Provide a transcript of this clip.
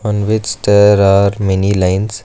and which there are many lines.